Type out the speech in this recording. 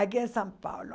Aqui em São Paulo.